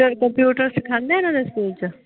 Computer ਸਿਖਾਉਂਦੇ ਇਹਨਾਂ ਦੇ ਸਕੂਲ ਚ?